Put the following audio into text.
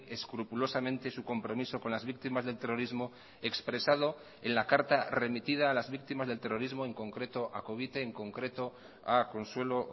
escrupulosamente su compromiso con las víctimas del terrorismo expresado en la carta remitida a las víctimas del terrorismo en concreto a covite en concreto a consuelo